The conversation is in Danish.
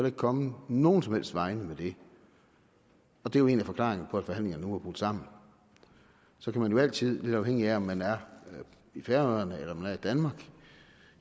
ikke kommet nogen som helst vegne med det og det er jo en af forklaringerne på at forhandlingerne nu er brudt sammen så kan man jo altid lidt afhængig af om man er i færøerne eller man er i danmark